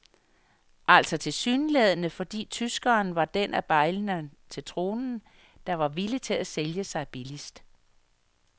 Altså tilsyneladende fordi tyskeren var den af bejlerne til tronen, der var villig til at sælge sig billigst.